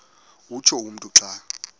utsho umntu xa